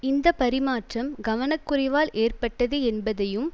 இந்த பரிமாற்றம் கவனக்குறைவால் ஏற்பட்டது என்பதையும்